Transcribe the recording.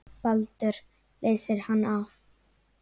Baldur leysir hann af.